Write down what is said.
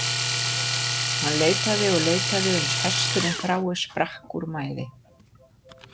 Hann leitaði og leitaði uns hesturinn frái sprakk úr mæði.